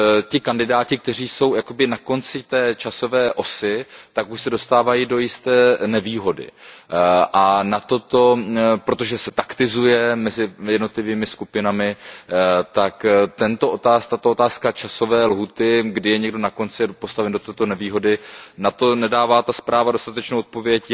ti kandidáti, kteří jsou jakoby na konci časové osy, tak už se dostávají do jisté nevýhody. A na toto, protože se taktizuje mezi jednotlivými skupinami, tak tato otázka časové lhůty, kdy je někdo na konci a postaven do této nevýhody, na to nedává ta zpráva dostatečnou odpověď.